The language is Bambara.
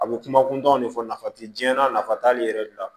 A bɛ kuma kuntanw de fɔ nafa tɛ jiyɛn na nafa t'ale yɛrɛ de la